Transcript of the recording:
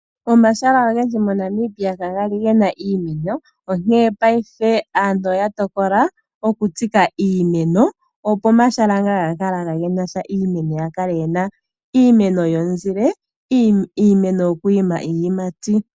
Omahala ogendji moNamibia kaga li gena iimeno, onkene paife aantu oya tokola okutsika iimeno, opo omahala ngoka kaagali gena iimeno ga kala gena iimeno yomuzile noshowo iimeno yiiyimati.